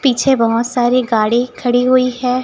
पीछे बहोत सारे गाड़ी खड़ी हुई है।